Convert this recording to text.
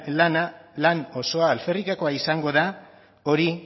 lan osoa alferrikakoa izango da hori